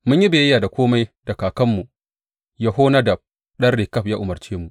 Mun yi biyayya da kome da kakanmu Yehonadab ɗan Rekab ya umarce mu.